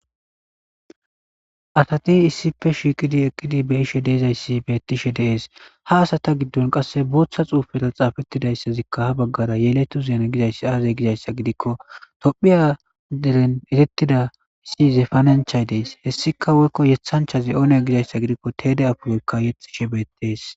Asati issippe shiiqidi eqqidi be7ishe de7izayssi beettishe dees ha asata giddon qasse booththa xuufeta xaafettidayssazikka ha baggara yeletu zeene gizayssi aazey gizayssa gidikko tophiyaderen etettida si zefananchay dees hessika woykko yethanchazi oone gizayssa gidikko teede apuroykka yexxishe beettees.